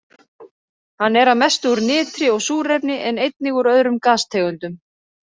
Hann er að mestu úr nitri og súrefni en einnig úr öðrum gastegundum.